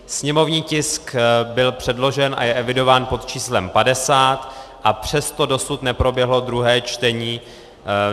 Sněmovní tisk byl předložen a je evidován pod číslem 50, a přesto dosud neproběhlo druhé čtení.